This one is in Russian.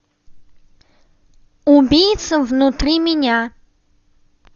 убийца внутри меня